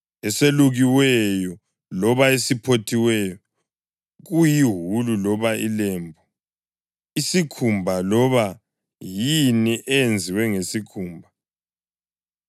eselukiweyo loba esiphothiweyo kuyiwulu loba ilembu, isikhumba loba yini eyenziwe ngesikhumba,